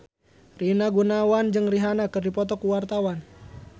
Rina Gunawan jeung Rihanna keur dipoto ku wartawan